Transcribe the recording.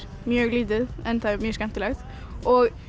mjög lítið en mjög skemmtilegt og